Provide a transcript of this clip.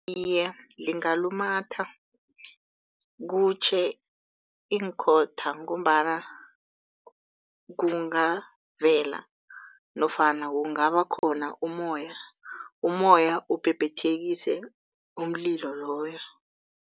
Iye, lingalumatha kutjhe iinkhotha ngombana kungavela nofana kungaba khona ummoya, ummoya ubhebhethekise umlilo loyo.